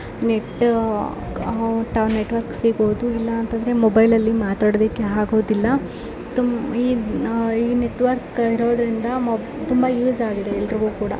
ನೆಟ್ಟು ಅಹ್ ನೆಟ್ವರ್ಕ್ ಸಿಗೋದು. ಇಲ್ಲಅಂದ್ರೆ ಮೊಬೈಲ್ ಅಲ್ಲಿ ಮಾತಾಡೋದಕ್ಕೆ ಆಗೋದಿಲ್ಲ. ತುಮ್-ಈ-ಅಹ್ಈ ನೆಟ್ವರ್ಕ್ ಇರೋದ್ರಿಂದ ಮೊ ತುಂಬಾ ಯೂಸ್ ಆಗಿದೆ ಎಲ್ಲರಿಗು ಕೂಡ.